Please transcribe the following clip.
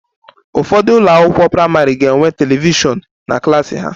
Ụfọdụ ụlọ akwụkwọ praịmarị ga-enwe telivishọn na klas ha